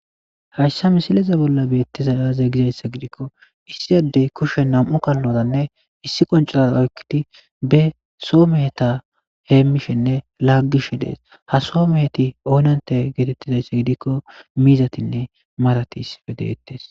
Hayssa misileza bolla beettiza aaze gizayssa gidikko issi adey kushe nam"u kallozanne issi qoncoraa oykkiti be soo meheta heemmishenne laaggishe dees. ha soo meheti oonante geetettizayssa gidikko miizatinne marati issippe deettes.